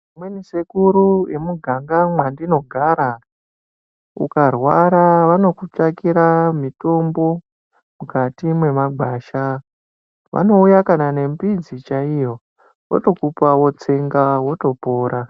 Vamweni sekuru vemuganga mwandinogara ukarwara vanokutsvakira mitombo mukati memagwasha. Vanouya kana nembidzi chaiyo votokupa votsenga votopora.